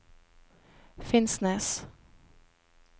Finnsnes